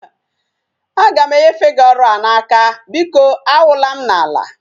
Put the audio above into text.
Aga m enyefe gi ọrụ a n'aka, biko awụla m n'ala